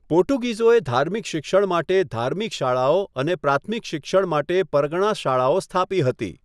પોર્ટુગીઝોએ ધાર્મિક શિક્ષણ માટે ધાર્મિક શાળાઓ અને પ્રાથમિક શિક્ષણ માટે પરગણાં શાળાઓ સ્થાપી હતી.